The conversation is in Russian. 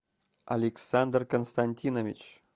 александр константинович